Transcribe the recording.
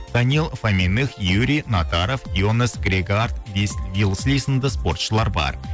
данил фамених юрий натаров ионес грегард спортшылар бар